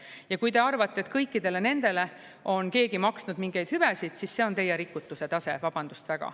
Ja kui te arvate, et kõikidele nendele on keegi maksnud mingeid hüvesid, siis see on teie rikutuse tase, vabandust väga.